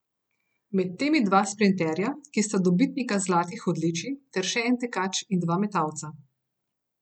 Med temi dva sprinterja, ki sta dobitnika zlatih odličij, ter še en tekač in dva metalca.